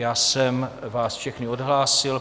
Já jsem vás všechny odhlásil.